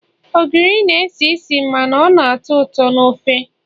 ogiri na-esi isi mana ọ na-atọ ụtọ na ofe